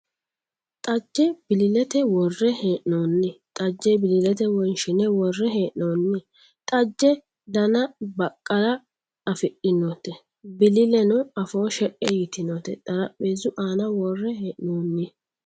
Xajje bilillete worre hee'noonni xajje bilillete wonshine worre hee'noonni. Xajje Dana baqqala afidhinote bililleno afoo she"e yitinote xarapheezzu aana worre hee'noonni.